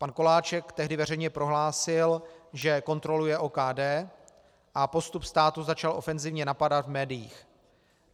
Pan Koláček tehdy veřejně prohlásil, že kontroluje OKD, a postup státu začal ofenzivně napadat v médiích.